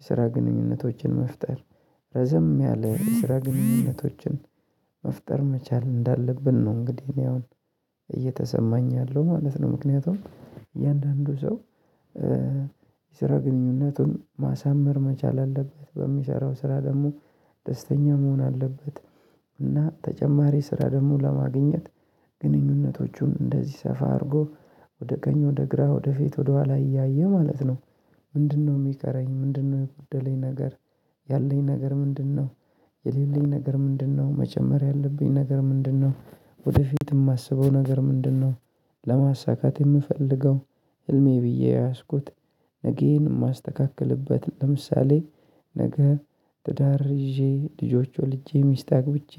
የስራ ግንኙነቶችን መፍጠር ረዘም ያለ የስራ ግንኙነቶችን መፍጠር መቻል እንዳለብን ነው። እንግዲህ እኔ አሁን እየተሰማኝ ያለው ማለት ነው። ምክንያቱም እያንዳንዱ ሰው የስራ ግንኙነቱን ማሳመር መቻል አለበት በሚሰራው ስራ ደግሞ ደስተኛ መሆን አለበት። እና ተጨማሪ ስራ ደግሞ ለማግኘት ግንኙነቶቹን እንደዚህ ሰፋ አድርጎ ወደ ቀኝ ወደ ግራ ወደ ፊት ወደ ኋላ እያየ ማለት ነው። ምንድነው የሚቀረኝ ምንድነው የጎደለኝ ነገር ያለኝ ነገር ምንድነው? የሌለኝ ነገር ምንድነው መጨመር ያለብኝ ነገር ምንድነው ወደፊት የማስበው ነገር ምንድነው? ለማሳካት የምፈልገው ህልሜ ብዬ የያዝኩት ነገዬን የማስተካክልበት ለምሳሌ ነገ ትዳር ይዤ ልጆች ወልጄ ሚስት አግብቼ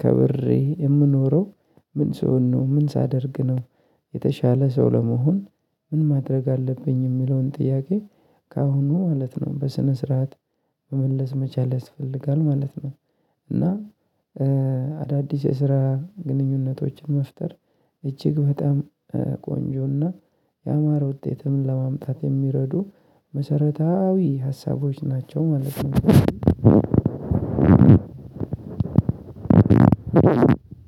ከብሬ የምኖረው ምን ስሆንነው ምን ሳደርግ ነው? የተሻለ ሰው ለመሆን ምን ማድረግ አለብኝ የሚለውን ጥያቄ ከአሁኑ ማለት ነው። በስነ ስርዓት መመለስ መቻል ያስፈልጋል ማለት ነው። እና አዳዲስ የስራ ግንኙነቶችን መፍጠር እጅግ በጣም ቆንጆና የአማር ውጤትም ለማምጣት የሚረዱ መሰረታዊ ሀሳቦች ናቸው ማለት ነው።